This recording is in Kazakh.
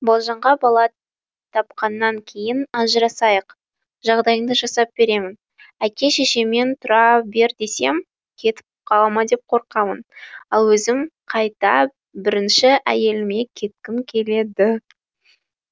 балжанға бала тапқаннан кейін ажырасайық жағдайыңды жасап беремін әке шешеммен тұра бер десем кетіп қалама деп қорқам ал өзім қайта бірінші әйеліме кеткім келеді